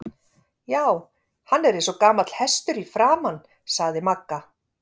Já, hann er eins og gamall hestur í framan sagði Magga.